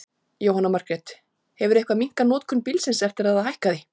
Jóhanna Margrét: Hefurðu eitthvað minnkað notkun bílsins eftir að það hækkaði?